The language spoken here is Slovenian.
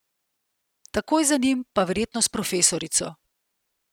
Takoj za njim pa verjetno s Profesorico.